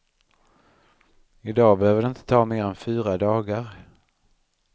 I dag behöver det inte ta mer än fyra dagar.